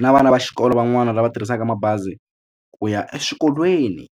na vana va xikolo van'wani lava tirhisaka mabazi ku ya eswikolweni.